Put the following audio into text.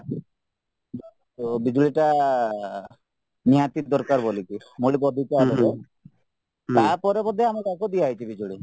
ଓ ବିଜୁଳିଟା ନିହାତି ଦରକାର ବୋଲିକି ତାପରେ ତାପରେ ବୋଧେ ଆମେ ତାଙ୍କୁ ଦିଆହେଇଛି ବିଜୁଳି